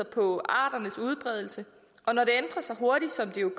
på arternes udbredelse og når det ændrer sig hurtigt som det jo